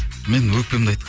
мен өкпемді